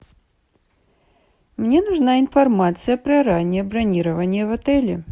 мне нужна информация про раннее бронирование в отеле